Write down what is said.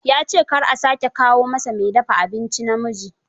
Ya ce kar a sake kawo masa mai dafa abinci namiji